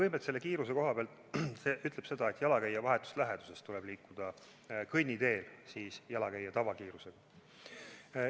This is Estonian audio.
Kõigepealt, selle kiiruse koha pealt ütleb eelnõu seda, et jalakäija vahetus läheduses, kõnniteel tuleb liikuda jalakäija tavakiirusel.